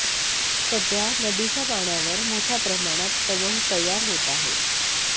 सध्या नदीच्या पाण्यावर मोठ्या प्रमाणात तवंग तयार होत आहे